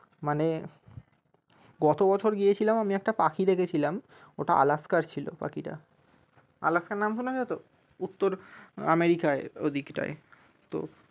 মানে গত বছর গিয়েছিলাম আমি একটা পাখি দেখেছিলাম ওটা alaska ছিল পাখিটা alaska নাম শুনেছ তো? উত্তর আমেরিকায় ওই দিকটায় তো